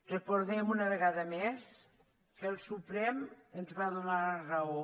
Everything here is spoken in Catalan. recordem una vegada més que el suprem ens va donar la raó